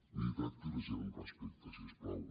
miri tracti la gent amb respecte si us plau